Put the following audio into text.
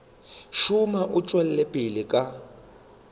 šoma o tšwela pele ka